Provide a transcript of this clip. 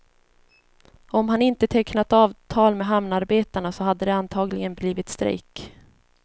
Om han inte tecknat avtal med hamnarbetarna så hade det antagligen blivit strejk.